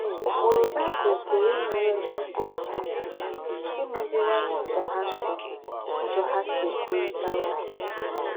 Úkpùrù Baị́bụ̀l kwùrù ínyèrè ńdị́ dì nà ńwùnyè ákà ímèzìwànyè úzọ̀ hà sí úzọ̀ hà sí ékwùrị̀tà ókwú.